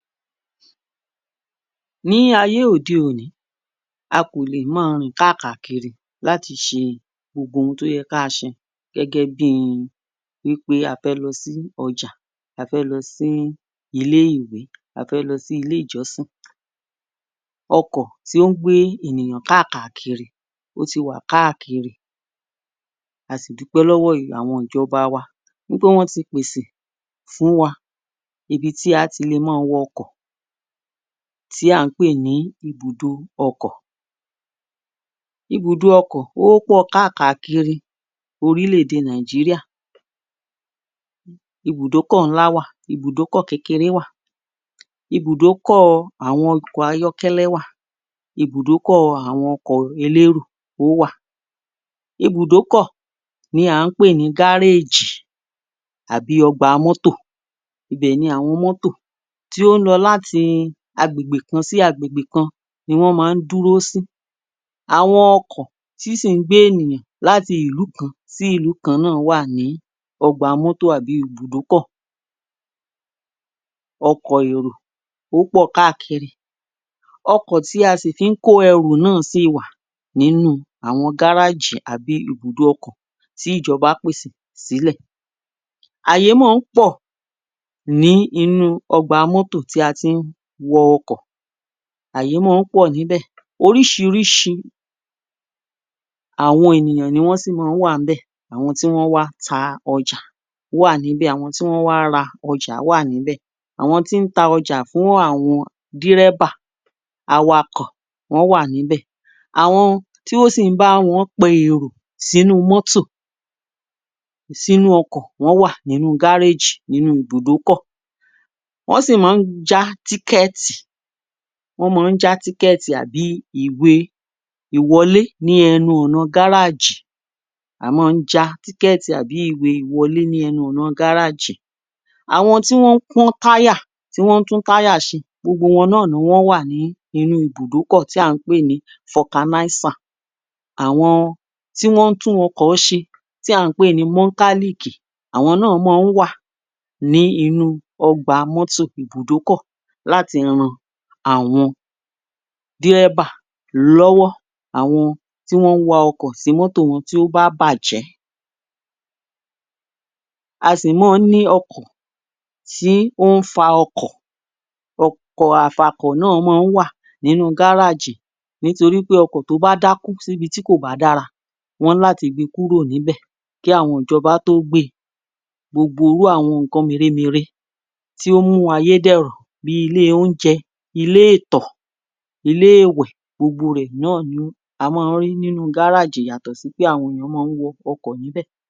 Ní ayé òde-òní a kò lè máa rìn káàkàkiri láti ṣe gbogbo ohun tó yẹ ká a ṣe gẹ́gẹ́ bí i wí pé a fẹ́ lọ sí ọjà, a fẹ́ lọ sí ilé-ìwé, a fẹ́ lọ sí ilé-ìjọ́sìn. ọkọ̀ tí ó ń gbé ènìyàn káàkàkiri ó ti wà káàkiri, a sì dúpẹ́ lọ́wọ́ ìjọba wa wí pé wọ́n ti pèsè fún wa ibi tí a ti lè máa wọ ọkọ̀ tí à ń pè ní ibùdó ọkọ̀. Ibùdo ọkọ̀ ó pọ̀ káàkàkiri orílẹ̀-èdè Nàìjíríà, ibùdókọ̀ ńlá wà, ibùdókọ̀ kékeré wà, ibùdókọ̀ àwọn ọkọ̀ ayọ́kẹ́lẹ́ wà, ibùdókọ̀ àwọn ọkọ̀ elérò ó wà. Ibùdókọ̀ ni à ń pè ní gáréèjì àbí ọgbà mọ́tò, ibẹ̀ ni àwọn mọ́tò tí ó ń lọ láti agbègbè kan sí agbègbè kan ni wọ́n máa ń dúró sí. Àwọn ọkọ̀ tí sì ń gbé ènìyàn láti ìlú kan sí ìlú kan náà wà ní ọgbà mọ́tò àbí ibùdókọ̀ ọkọ̀ èrò ó pọ̀ káàkiri. ọkọ̀ tí a sì fi ń kó ẹrù náà sì wà nínú àwọn gárájì àbí ibùdó ọkọ̀ tí ìjọbá pèsè sílẹ̀. Ààyè máa ń pọ̀ ní inú ọgbà mọ́tò tí a ti ń wọ ọkọ̀, ààyè máa ń pọ̀ níbẹ̀ oríṣiríṣi àwọn ènìyàn ni wọ́n sì máa ń wà ńbẹ̀ àwọn tí wọ́n wá ta ọjà wà níbẹ̀, àwọn tí wọ́n wá ra ọjà wà níbẹ̀, àwọn tí ń ta ọjà fún àwọn dírẹ́bà, awakọ̀ wọ́n wà níbẹ̀, àwọn tí ó sì ń bá wọn pe èrò sínú mọ́tò, sínú ọkọ̀ wọ́n wà nínú gáréjì nínú ibùdókọ̀. Wọ́n sì máa ń já tíkẹ̀ẹ̀tì, wọ́n máa ń já tíkẹ̀ẹ̀tì àbí ìwé-ìwọlé ní ẹnu ọ̀nà gáràjì a máa ń já tíkẹ̀tì àbí ìwé ìwọlé ní ẹnu ọ̀nà gáràjì. Àwọn tí wọ́n ń pọ́n táyà tí wọ́n ń tún táyà ṣe gbogbo wọn náà ni wọ́n wà ní inú ibùdókọ̀ tí à ń pè ní garage. Àwọn tí wọ́n ń tún ọkọ̀ ṣe tí à ń pè ní mọ́kálíìkì àwọn náà máa ń wà ní inú ọgbà mọ́tò ibùdókọ̀ láti ran àwọn dírẹ́bà lọ́wọ́ àwọn tí wọ́n wa ọkọ̀ tí mọ́tò wọ́n bá bàjẹ́. A sì máa ń ní ọkọ̀ ttí ó ń fa ọkọ̀, ọkọ̀ afakọ̀ náà wà nínú gáràjì nítorí pé ọkọ̀ tó bá dákú síbi tí kò bá dára wọ́n ní láti gbe kúrò níbẹ̀ kí àwọn ìjọba tó gbe. Gbogbo irú àwọn nǹkan mèremère tí ó ń mú ayéh dẹ̀rọ̀ bí i ilé oúnjẹ, ilé ìtọ̀, ilé ìwẹ̀ gbogbo rẹ̀ náà ni a máa ń rí nínú gáràjì yàtọ̀ sí pé àwọn èèyàn máa ń wọ ọkọ̀ níbẹ̀.